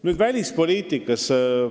Nüüd välispoliitikast.